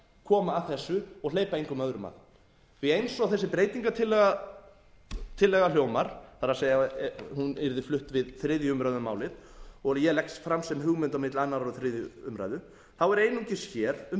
koma að þessu og hleypa engum öðrum að því eins og þessi breytingartillaga hljómar það er ef hún yrði flutt við þriðju umræðu um málið og ég legg fram sem hugmynd á milli annars og þriðju umræðu þá er einungis hér um